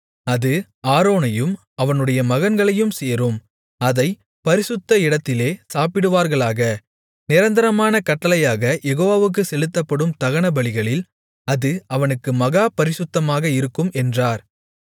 அது ஆரோனையும் அவனுடைய மகன்களையும் சேரும் அதைப் பரிசுத்த இடத்திலே சாப்பிடுவார்களாக நிரந்தரமான கட்டளையாக யெகோவாவுக்குச் செலுத்தப்படும் தகனபலிகளில் அது அவனுக்கு மகா பரிசுத்தமாக இருக்கும் என்றார்